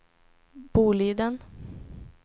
Boliden